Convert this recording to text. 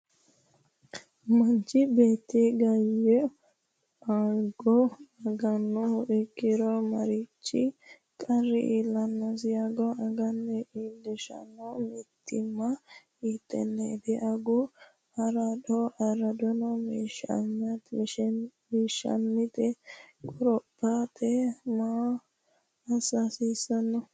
Manchi beeti ganye ago agannoha ikkiro marichi qarri iillannosi? Ago aga iillishshanno mitiimma hiittenneeti? Agu araadonni meessaneeto qorophate maa assa hasiissanno?